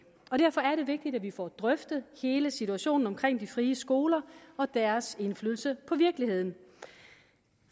vigtigt at vi får drøftet hele situationen omkring de frie skoler og deres indflydelse på virkeligheden